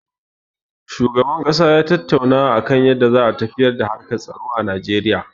Shugaban ƙasa ya tattauna da a kan yadda za a tafiyar da harkar tsaro a Najeriya.